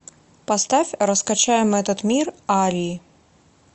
поставь раскачаем этот мир арии